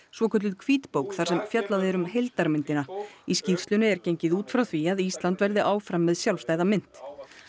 svokölluð hvítbók þar sem fjallað er um heildarmyndina í skýrslunni er gengið út frá því að Ísland verði áfram með sjálfstæða mynt